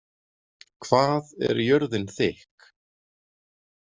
Hvað er jörðin þykk?